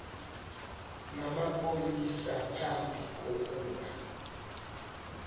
namapolisa phambi kokuba